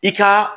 I ka